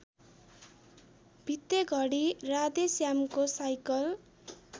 भित्तेघडी राधेश्यामको साइकल